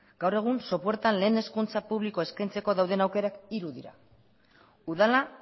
gaur egun sopuertan lehen hezkuntza publikoa eskaintzeko dauden aukerak hiru dira udala